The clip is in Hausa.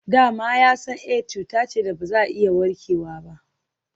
Da ma ya san Aids cuta ce da ba za a iya warkewa ba.